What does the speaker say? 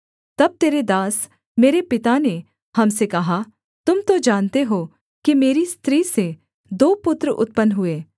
तब तेरे दास मेरे पिता ने हम से कहा तुम तो जानते हो कि मेरी स्त्री से दो पुत्र उत्पन्न हुए